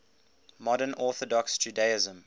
modern orthodox judaism